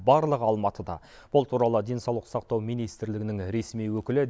барлығы алматыда бұл туралы денсаулық сақтау министрлігінің ресми өкілі